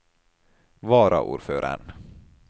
varaordføreren